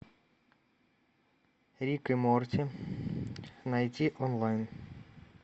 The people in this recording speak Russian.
рик и морти найти онлайн